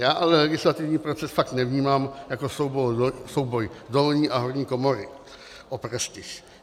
Já ale legislativní proces fakt nevnímám jako souboj dolní a horní komory o prestiž.